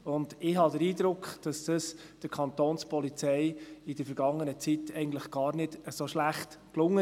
Ich habe den Eindruck, dass das der Kapo in der vergangenen Zeit eigentlich gar nicht so schlecht gelang.